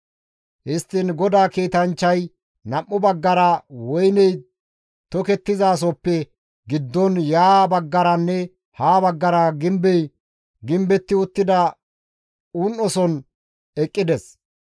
Histtiin GODAA kiitanchchay nam7u baggara woyney tokettizasohoppe giddon ya baggaranne ha baggara gimbey gimbetti uttida un7oson eqqides.